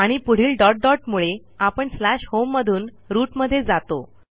आणि पुढील dot dot मुळे आपण स्लॅश होम मधून रूट मध्ये जातो